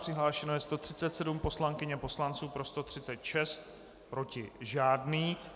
Přihlášeno je 137 poslankyň a poslanců, pro 136, proti žádný.